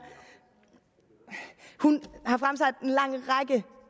hun